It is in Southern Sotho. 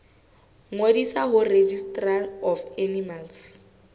ngodisa ho registrar of animal